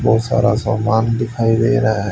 बहुत सारा समान दिखाई दे रहा है।